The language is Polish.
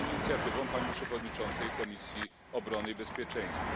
Jest inicjatywą pani przewodniczącej Komisji Obrony i Bezpieczeństwa.